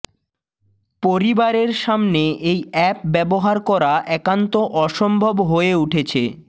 পরিবােরর সামনে এই অ্যাপ ব্যবহার করা একান্ত অসম্ভব হয়ে উঠেছে